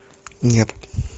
нет